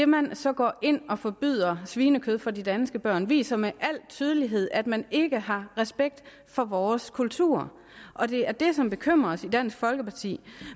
man så går ind og forbyder svinekød for de danske børn viser med al tydelighed at man ikke har respekt for vores kultur og det er det som bekymrer os i dansk folkeparti